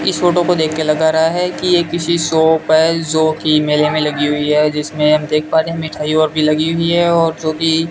इस फोटो को देखके लग रहा है कि ये किसी शॉप है जोकि मेले में लगी हुई है जिसमें हम देख पा रहे हैं मिठाई और भी लगी हुई है और जो भी --